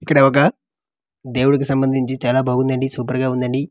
ఇక్కడ ఒక దేవుడికి సంబందించి చాలా బాగుందండీ సూపర్ గా ఉందండి.